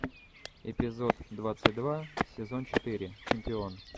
эпизод двадцать два сезон четыре чемпион